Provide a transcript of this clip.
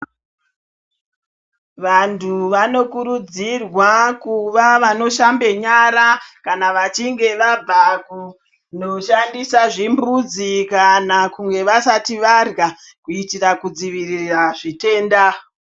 Vantu vanokurudzirwa kuva vanoshambe nyara kana vachinge vabva kunoshandisa zvimbuzi kana kunge vasati varya kuitira kudzivirira zvitenda.